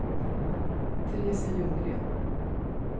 Teresia Ljunggren